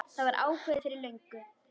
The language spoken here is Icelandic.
Það var ákveðið fyrir löngu.